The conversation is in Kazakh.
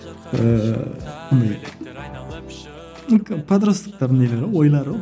ііі андай подростоктардың нелері ойлары